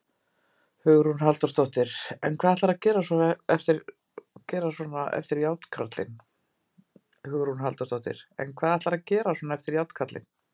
Hugrún Halldórsdóttir: En hvað ætlarðu að gera svona eftir Járnkarlinn?